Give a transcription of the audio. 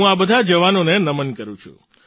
હું આ બધા જવાનોને નમન કરું છું